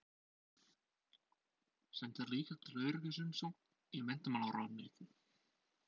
Sendir líka til öryggis umsókn í menntamálaráðuneytið.